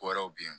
Wɛrɛw bɛ ye